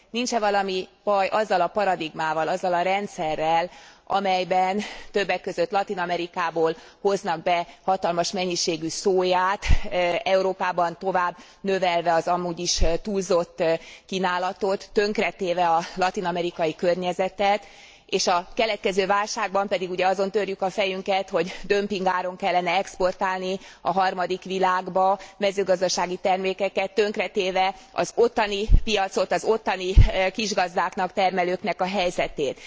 Nincs e valami baj azzal a paradigmával, azzal a rendszerrel, amelyben többek között Latin Amerikából hoznak be hatalmas mennyiségű szóját, Európában tovább növelve az amúgy is túlzott kínálatot, tönkretéve a latin amerikai környezetet és a keletkező válságban pedig ugye azon törjük a fejünket, hogy dömpingáron kellene exportálni a harmadik világba mezőgazdasági termékeket, tönkretéve az ottani piacot, az ottani kisgazdáknak, termelőknek a helyzetét.